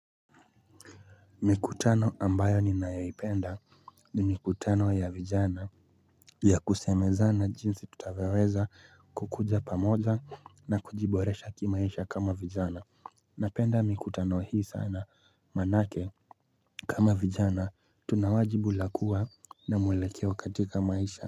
Mi kutano ambayo ninayoi penda, mi kutano ya vijana, ya kusemezana jinsii tu taweweza kukuja pamoja na kujiboresha kima isha kama vijana. Napenda miku tano hi isana, maanake kama vijana, tunawajibula kua na mwelakeo katika maisha.